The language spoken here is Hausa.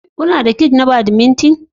Kuna da kiths na badminton?